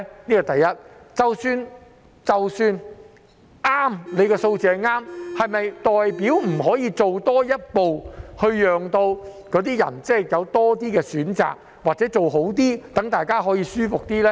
即使他們的數字正確，是否代表不可以多做一步，讓市民有多些選擇，或者做得更好，讓大家可以舒服一點呢？